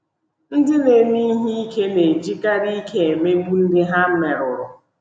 Ndị na-eme ihe ike na-ejikarị ike emegbu ndị ha merụrụ.